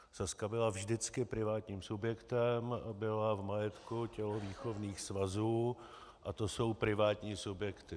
Sazka byla vždycky privátním subjektem, byla v majetku tělovýchovných svazů a to jsou privátní subjekty.